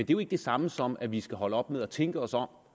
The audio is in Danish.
jo ikke det samme som at vi skal holde op med at tænke os om